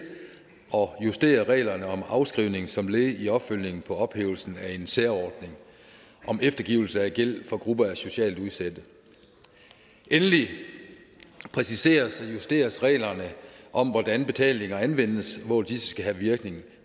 og justerer reglerne om afskrivning som led i opfølgningen på ophævelsen af en særordning om eftergivelse af gæld for grupper af socialt udsatte endelig præciseres og justeres reglerne om hvordan betalinger anvendes og hvor disse skal have virkning